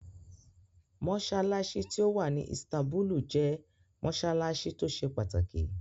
Mossalassi ti owạ ni Istanbulu jẹ mossalassi to se pataki